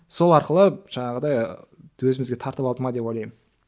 сол арқылы жаңағыдай өзімізге тартып алды ма деп ойлаймын